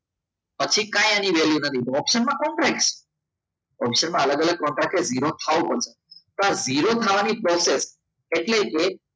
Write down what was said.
પછી કાંઈક એની value નથી ઓપ્શનમાં ઓપ્શનમાં અલગ અલગ કોન્ટ્રાક્ટ વિરોધ થવું પડે તો આ વિરોધ થવાની procces એટલે